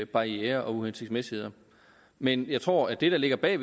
barrierer og uhensigtsmæssigheder men jeg tror at det der ligger bag